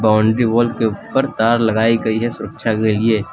Boundary wall के ऊपर तार लगायी गई है सुरक्षा के लिए।